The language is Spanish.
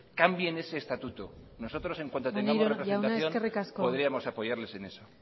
cambien ese estatuto nosotros en cuanto tengamos representamos podríamos apoyarles en eso